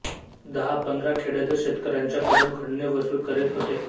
दहा पंधरा खेड्यातील शेतकऱ्यांच्या कडून खंडणी वसूल करीत होते